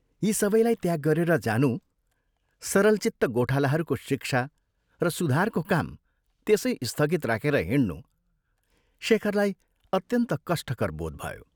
यी सबैलाई त्याग गरेर जानु, सरलचित्त गोठालाहरूको शिक्षा र सुधारको काम त्यसै स्थगित राखेर हिंड्नु, शेखरलाई अत्यन्त कष्टकर बोध भयो।